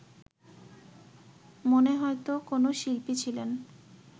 মনে হয়তো কোনো শিল্পী ছিলেন